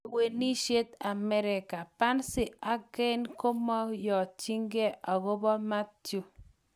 Lewenishet America: pency ak kane komoyonchin akobo Mathew.